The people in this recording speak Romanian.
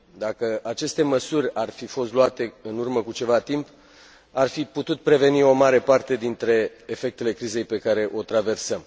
Dacă aceste măsuri ar fi fost luate în urmă cu ceva timp, ar fi putut preveni o mare parte dintre efectele crizei pe care o traversăm.